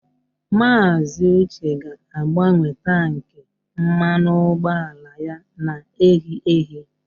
Maazị Uche ga-agbanwe tankị mmanụ ụgbọala ya na-ehi ehi